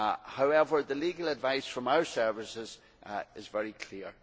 However, the legal advice from our services is very clear.